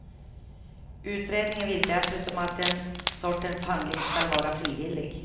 Utredningen vill dessutom att den sortens behandling skall vara frivillig.